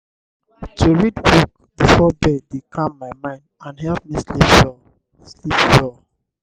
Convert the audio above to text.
to read book before bed dey calm my mind and help me sleep well. sleep well.